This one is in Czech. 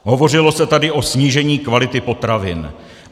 Hovořilo se tady o snížení kvality potravin.